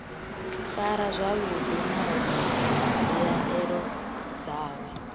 farwa zwavhuḓi nahone mbilaelo dzawe